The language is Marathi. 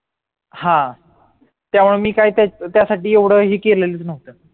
हा त्यामुळे मी काय त्याच्यासाठी एवढं ही केलेलं नह्व्त